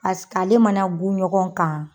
ale mana gun ɲɔgɔn kan.